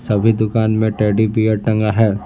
सभी दुकान में टेडी बेयर टंगा है।